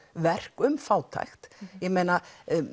alvöruverk um fátækt ég meina